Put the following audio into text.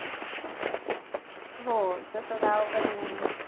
हो तसं गावाकडे नाही.